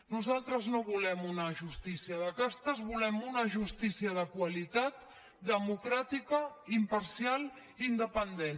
nosal·tres no volem una justícia de castes volem una justí·cia de qualitat democràtica imparcial i independent